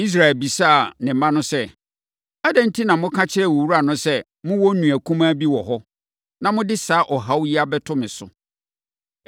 Israel bisaa ne mma no sɛ, “Adɛn enti na moka kyerɛɛ owura no sɛ mowɔ nua kumaa bi wɔ hɔ, na mode saa ɔhaw yi abɛto me so?”